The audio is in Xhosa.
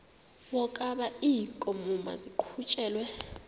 wokaba iinkomo maziqhutyelwe